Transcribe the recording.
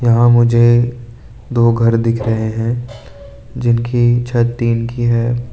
यहां मुझे दो घर दिख रहे हैं जिनकी छत टीन की है।